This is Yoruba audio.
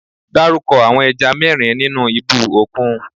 Dárúkọ àwọn ẹja mẹ́rin nínú ibú òkun?